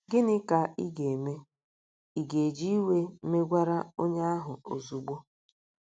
Gịnị ka ị ga - eme? Ị̀ ga - eji iwe megwara onye ahụ ozugbo?